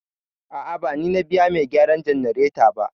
A'a, ba ni na biya mai gyaran jannareta ba.